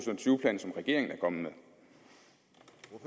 tyve plan som regeringen er kommet